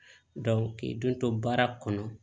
k'i don to baara kɔnɔ